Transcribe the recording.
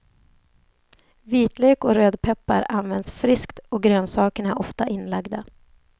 Vitlök och rödpeppar används friskt och grönsakerna är ofta inlagda.